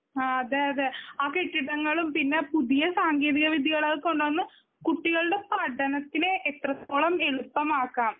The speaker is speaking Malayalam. ആ അതെയതെ ആ കെട്ടിടങ്ങളും പിന്നെ ആ പുതിയ സാങ്കേതിക വിദ്ത്യകളും അത് കൊണ്ടുവന്ന് കുട്ടികളുടെ പഠനത്തിന് അത് എത്രത്തോളം എളുപ്പമാക്കാം.